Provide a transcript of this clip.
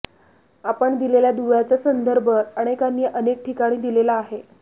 आपण दिलेल्या दुव्याचा संदर्भ अनेकांनी अनेक ठिकाणी दिलेला आहे